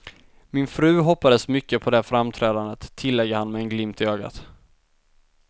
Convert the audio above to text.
Min fru hoppades mycket på det framträdandet, tillägger han med en glimt i ögat.